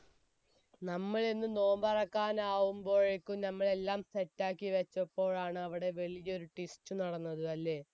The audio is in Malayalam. നമ്മൾ ഇന്ന് നോമ്പ് തുറക്കാനാവുമ്പോയേക്കും നമ്മൾ എല്ലാം set റ്റാക്കി വെച്ചപ്പോഴാണ് അവിടെ വലിയൊരു twist നടന്നത് അല്ലെ